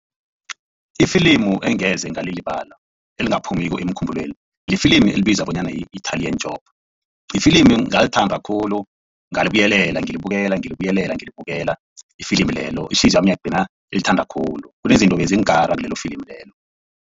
Ifilimu engeze ngalilibala elingaphumiko emkhumbulweni lifilimu elibizwa bonyana yi-Italian Job lifilimu ngalithanda khulu ngalibuyelela ngilibukela ngilibuyelela ngilibukela ifilimi lelo ihliziyo yami yagcina ilithanda khulu kunezinto bezingikara kulelo filimu lelo.